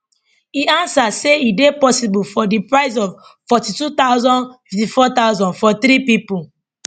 e answer say e dey possible for di price of 42000 54000 for three pipo